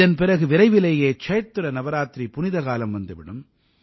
இதன் பிறகு விரைவிலேயே சைத்ர நவராத்திரி புனிதக்காலம் வந்து விடும்